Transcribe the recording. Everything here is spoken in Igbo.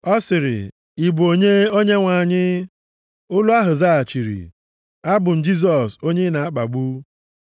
Ọ sịrị, “Ị bụ onye, Onyenwe anyị?” Olu ahụ zaghachiri, “Abụ m Jisọs onye ị na-akpagbu.